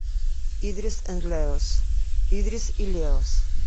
идрис энд леос идрис и леос